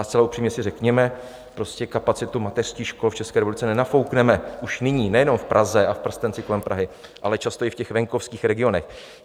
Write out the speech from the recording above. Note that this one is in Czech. A zcela upřímně si řekněme, prostě kapacitu mateřských škol v České republice nenafoukneme už nyní nejenom v Praze a v prstenci kolem Prahy, ale často i v těch venkovských regionech.